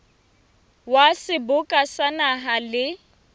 wa seboka sa naha le